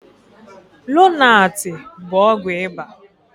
Lonaatị bụ ọgwụ ịba.